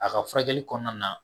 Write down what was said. A ka furakɛli kɔnɔna na